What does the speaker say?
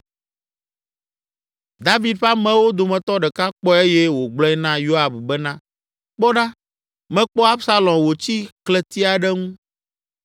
David ƒe amewo dometɔ ɖeka kpɔe eye wògblɔe na Yoab bena, “Kpɔ ɖa, mekpɔ Absalom wòtsi klẽti aɖe ŋu.”